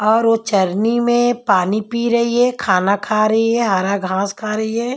और वो चरनी में पानी पी रही है खाना खा रही है हरा घास खा रही है।